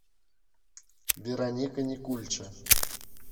вероника никульча